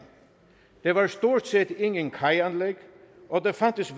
der var stort set ingen kajanlæg og der fandtes